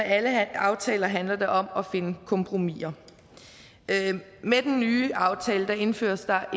alle aftaler handler det om at finde kompromiser med den nye aftale indføres der